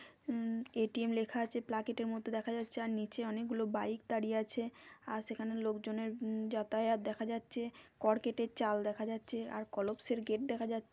উম ATM লেখা আছে প্ল্যাকার্টের মধ্যে দেখা যাচ্ছে যার নীচে অনেকগুলো বাইক দাঁড়িয়ে আছে। আর সেখানে লোক জনের ওম- যাতায়াত দেখা যাচ্ছে। কড়কিটের চাল দেখা যাচ্ছে আর কলপসের গেট দেখা যাচ্ছে।